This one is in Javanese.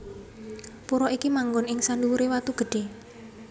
Pura iki manggon ing sandhuwuré watu gedhé